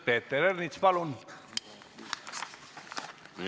Peeter Ernits, palun!